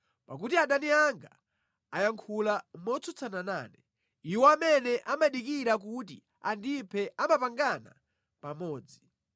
Pakuti adani anga ayankhula motsutsana nane; iwo amene amadikira kuti andiphe amapangana pamodzi.